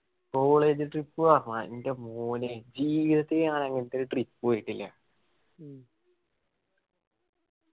college trip പറഞ്ഞ എന്റെ മോനെ ജീവിതത്തില് ഞാൻ അങ്ങനത്തെ trip പോയിട്ടില്ല.